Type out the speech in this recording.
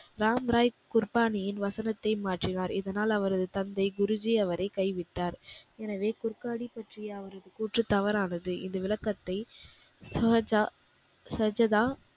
ராம்ராய் குர்பானியின் வசனத்தை மாற்றினார். இதனால் அவரது தந்தை குருஜி அவரை கைவிட்டார். எனவே குர்கானி பற்றிய அவரது கூற்று தவறானது. இந்த விளக்கத்தை சாஜா சஜதா,